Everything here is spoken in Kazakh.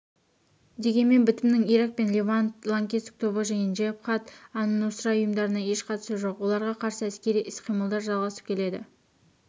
дегенмен бітімнің ирак пен левант лаңкестік тобы және джебхат-ан-нусра ұйымдарына еш қатысы жоқ оларға қарсы әскери іс-қимылдар жалғасып келеді